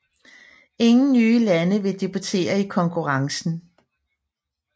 Ingen nye lande vil debuttere i konkurrencen